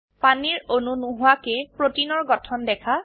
পানীৰ অণু নোহোৱাকৈ প্ৰোটিনৰ গঠন দেখা